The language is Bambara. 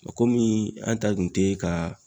Komi an ta kun tɛ ka.